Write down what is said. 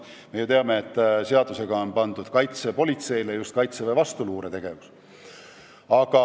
Me ju teame, et seadusega on pandud kaitsepolitseile just Kaitseväe vastuluuretegevus.